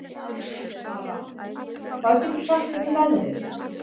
Aran, hvað geturðu sagt mér um veðrið?